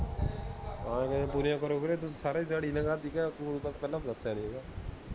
ਹਨ ਨਹੀਂ ਪੂਰੀਆਂ ਕਰੋ ਬੀਰੇ, ਸਾਰੀ ਦਿਹਾੜੀ ਲੰਘਾਤੀ, ਕਹਿ ਪਹਿਲਾਂ ਤਾ ਦਸਿਆ ਨੀ